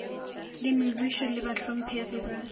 le mebušo le bahlomphegi ba